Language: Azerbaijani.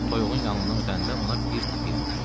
Toyuğun yanından ötəndə ona bir təpik vurdu.